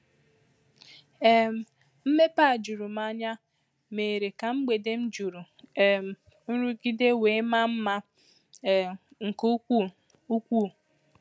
um Mmepe a juru m anya méérè ka mgbèdè m juru um nrụgide wee maa mma um nke ukwuu. ukwuu.